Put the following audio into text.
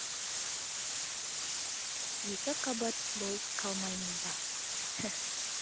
екі қабат болып қалмаймын ба